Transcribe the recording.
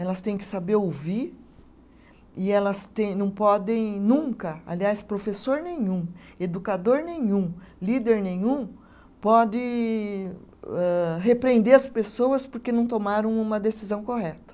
Elas têm que saber ouvir e elas tem, não podem nunca, aliás, professor nenhum, educador nenhum, líder nenhum, pode âh, repreender as pessoas porque não tomaram uma decisão correta.